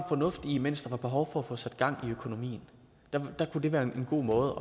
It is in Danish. fornuft i mens der var behov for at få sat gang i økonomien der kunne det være en god måde